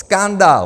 Skandál!